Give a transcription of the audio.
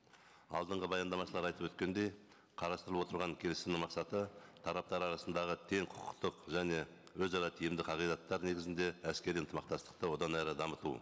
алдынғы баяндамашылар айтып өткендей қарастырылып отырған келісімнің мақсаты тараптар арасындағы тең құқықтық және өзара тиімді қағидаттар негізінде әскери ынтымақтастықты одан әрі дамыту